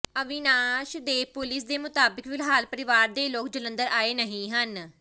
ਅਵਿਨਾਸ਼ ਦੇ ਪੁਲਿਸ ਦੇ ਮੁਤਾਬਕ ਫਿਲਹਾਲ ਪਰਿਵਾਰ ਦੇ ਲੋਕ ਜਲੰਧਰ ਆਏ ਨਹੀਂ ਹਨ